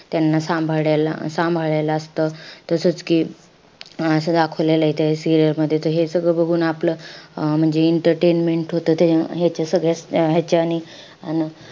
त्यांना सांभाळायला~ सांभाळायला असतं. तसंच कि सांभाळायला असं दाखवलेलंय त्या serial मध्ये. त हे सगळं बघून आपलं अं म्हणजे entertainment होतं. त्याच्या ह्याच्या सगळ्याच ह्याच्यांनी अन